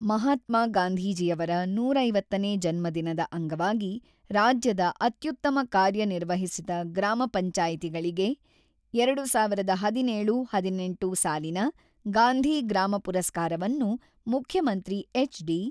ಮಹಾತ್ಮಾ ಗಾಂಧೀಜಿಯವರ ನೂರ ಐವತ್ತನೇ ಜನ್ಮದಿನದ ಅಂಗವಾಗಿ ರಾಜ್ಯದ ಅತ್ಯುತ್ತಮ ಕಾರ್ಯ ನಿರ್ವಹಿಸಿದ ಗ್ರಾಮ ಪಂಚಾಯತಿಗಳಿಗೆ ಎರಡು ಸಾವಿರ್ ಹದಿನೇಳು-ಹದಿನೆಂಟು ಸಾಲಿನ ಗಾಂಧಿ ಗ್ರಾಮ ಪುರಸ್ಕಾರವನ್ನು ಮುಖ್ಯಮಂತ್ರಿ ಎಚ್.ಡಿ.